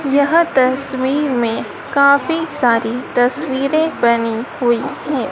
यह तस्वीर में काफी सारी तस्वीरें बनी हुई हैं।